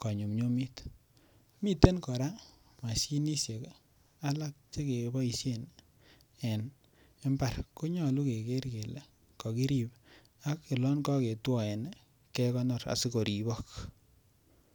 konyumnyumit, miten koraa moshinishek alak che keboishen en imbar konyoluu keger kelee kokirib ak olon kogetwoen kegonor asi koribok